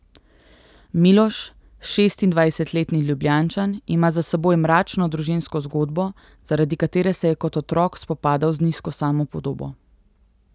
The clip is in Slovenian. Miloš, šestindvajsetletni Ljubljančan, ima za seboj mračno družinsko zgodbo, zaradi katere se je kot otrok spopadal z nizko samopodobo.